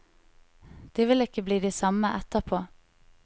De vil ikke bli de samme etterpå.